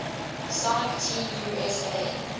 sonic team usa